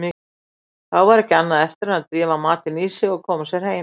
Þá var ekki annað eftir en drífa matinn í sig og koma sér heim.